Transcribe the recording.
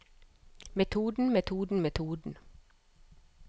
metoden metoden metoden